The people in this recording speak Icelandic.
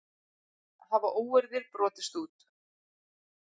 Hafa óeirðir brotist út